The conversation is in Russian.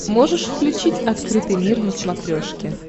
можешь включить открытый мир на смотрешке